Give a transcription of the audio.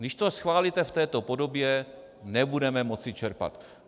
Když to schválíte v této podobě, nebudeme moci čerpat.